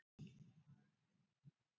Fjöldi titla